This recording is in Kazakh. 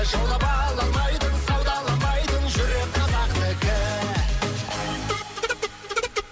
жұлып ала алмайтын саудаланбайтын жүрек қазақтікі